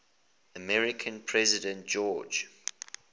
american president george